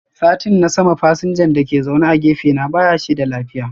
Satin na sama fasinjan dake zaune a gefe na bashi da lafiya.